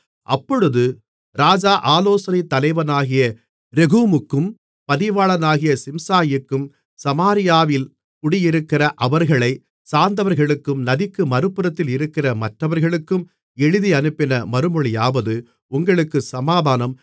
அப்பொழுது ராஜா ஆலோசனைத் தலைவனாகிய ரெகூமுக்கும் பதிவாளனாகிய சிம்சாயிக்கும் சமாரியாவில் குடியிருக்கிற அவர்களைச் சார்ந்தவர்களுக்கும் நதிக்கு மறுபுறத்தில் இருக்கிற மற்றவர்களுக்கும் எழுதியனுப்பின மறுமொழியாவது உங்களுக்கு சமாதானம்